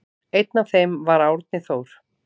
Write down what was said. Einn af þeim var Árni Þór.